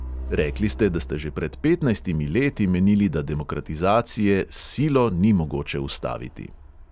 Rekli ste, da ste že pred petnajstimi leti menili, da demokratizacije s silo ni mogoče ustaviti.